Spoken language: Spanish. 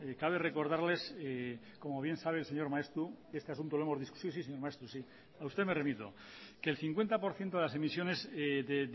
cabe recordarles como bien sabe el señor maeztu que este asunto lo hemos discutido sí sí señor maeztu sí a usted me remito que el cincuenta por ciento de las emisiones de